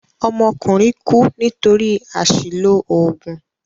Ọmọkùnrin kú nítorí àṣìlò òògùn.